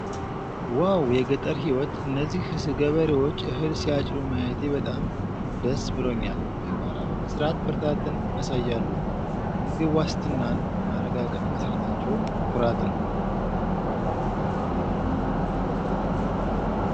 ዋው! የገጠር ሕይወት! እነዚህ ገበሬዎች እህል ሲያጭዱ ማየቴ በጣም ደስ ብሎኛል! በጋራ በመሥራት ብርታትን ያሳያሉ! የምግብ ዋስትናን ለማረጋገጥ መስራታቸው ኩራት ነው!